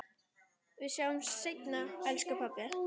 Við sjáumst seinna, elsku pabbi.